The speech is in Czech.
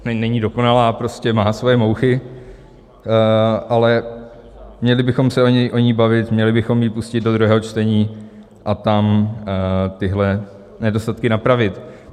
není dokonalá, prostě má své mouchy, ale měli bychom se o ní bavit, měli bychom ji pustit do druhého čtení a tam tyhle nedostatky napravit.